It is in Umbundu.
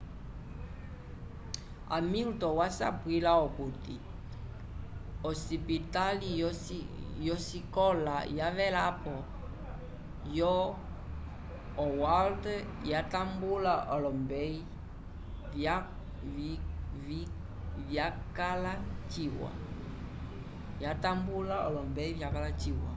hamilton wasapwila okuti osipitali yosikola yavelapo yo howard yatambula olombeyi vyakala ciwa